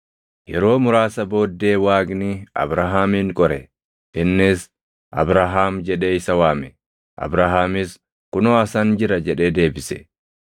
Yeroo muraasa booddee Waaqni Abrahaamin qore. Innis, “Abrahaam!” jedhee isa waame. Abrahaamis, “Kunoo asan jira” jedhee deebise.